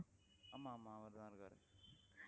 ஆமா ஆமா அவர்தான் இருக்காரு